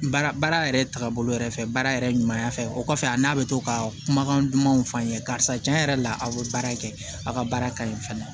Baara baara yɛrɛ taabolo yɛrɛ fɛ baara yɛrɛ ɲuman fɛ o kɔfɛ a n'a bɛ to ka kumakan dumanw fɔ an ye karisa tiɲɛ yɛrɛ la aw bɛ baara kɛ aw ka baara ka ɲi fana